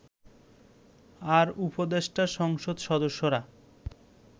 আর উপদেষ্টা সংসদ সদস্যরা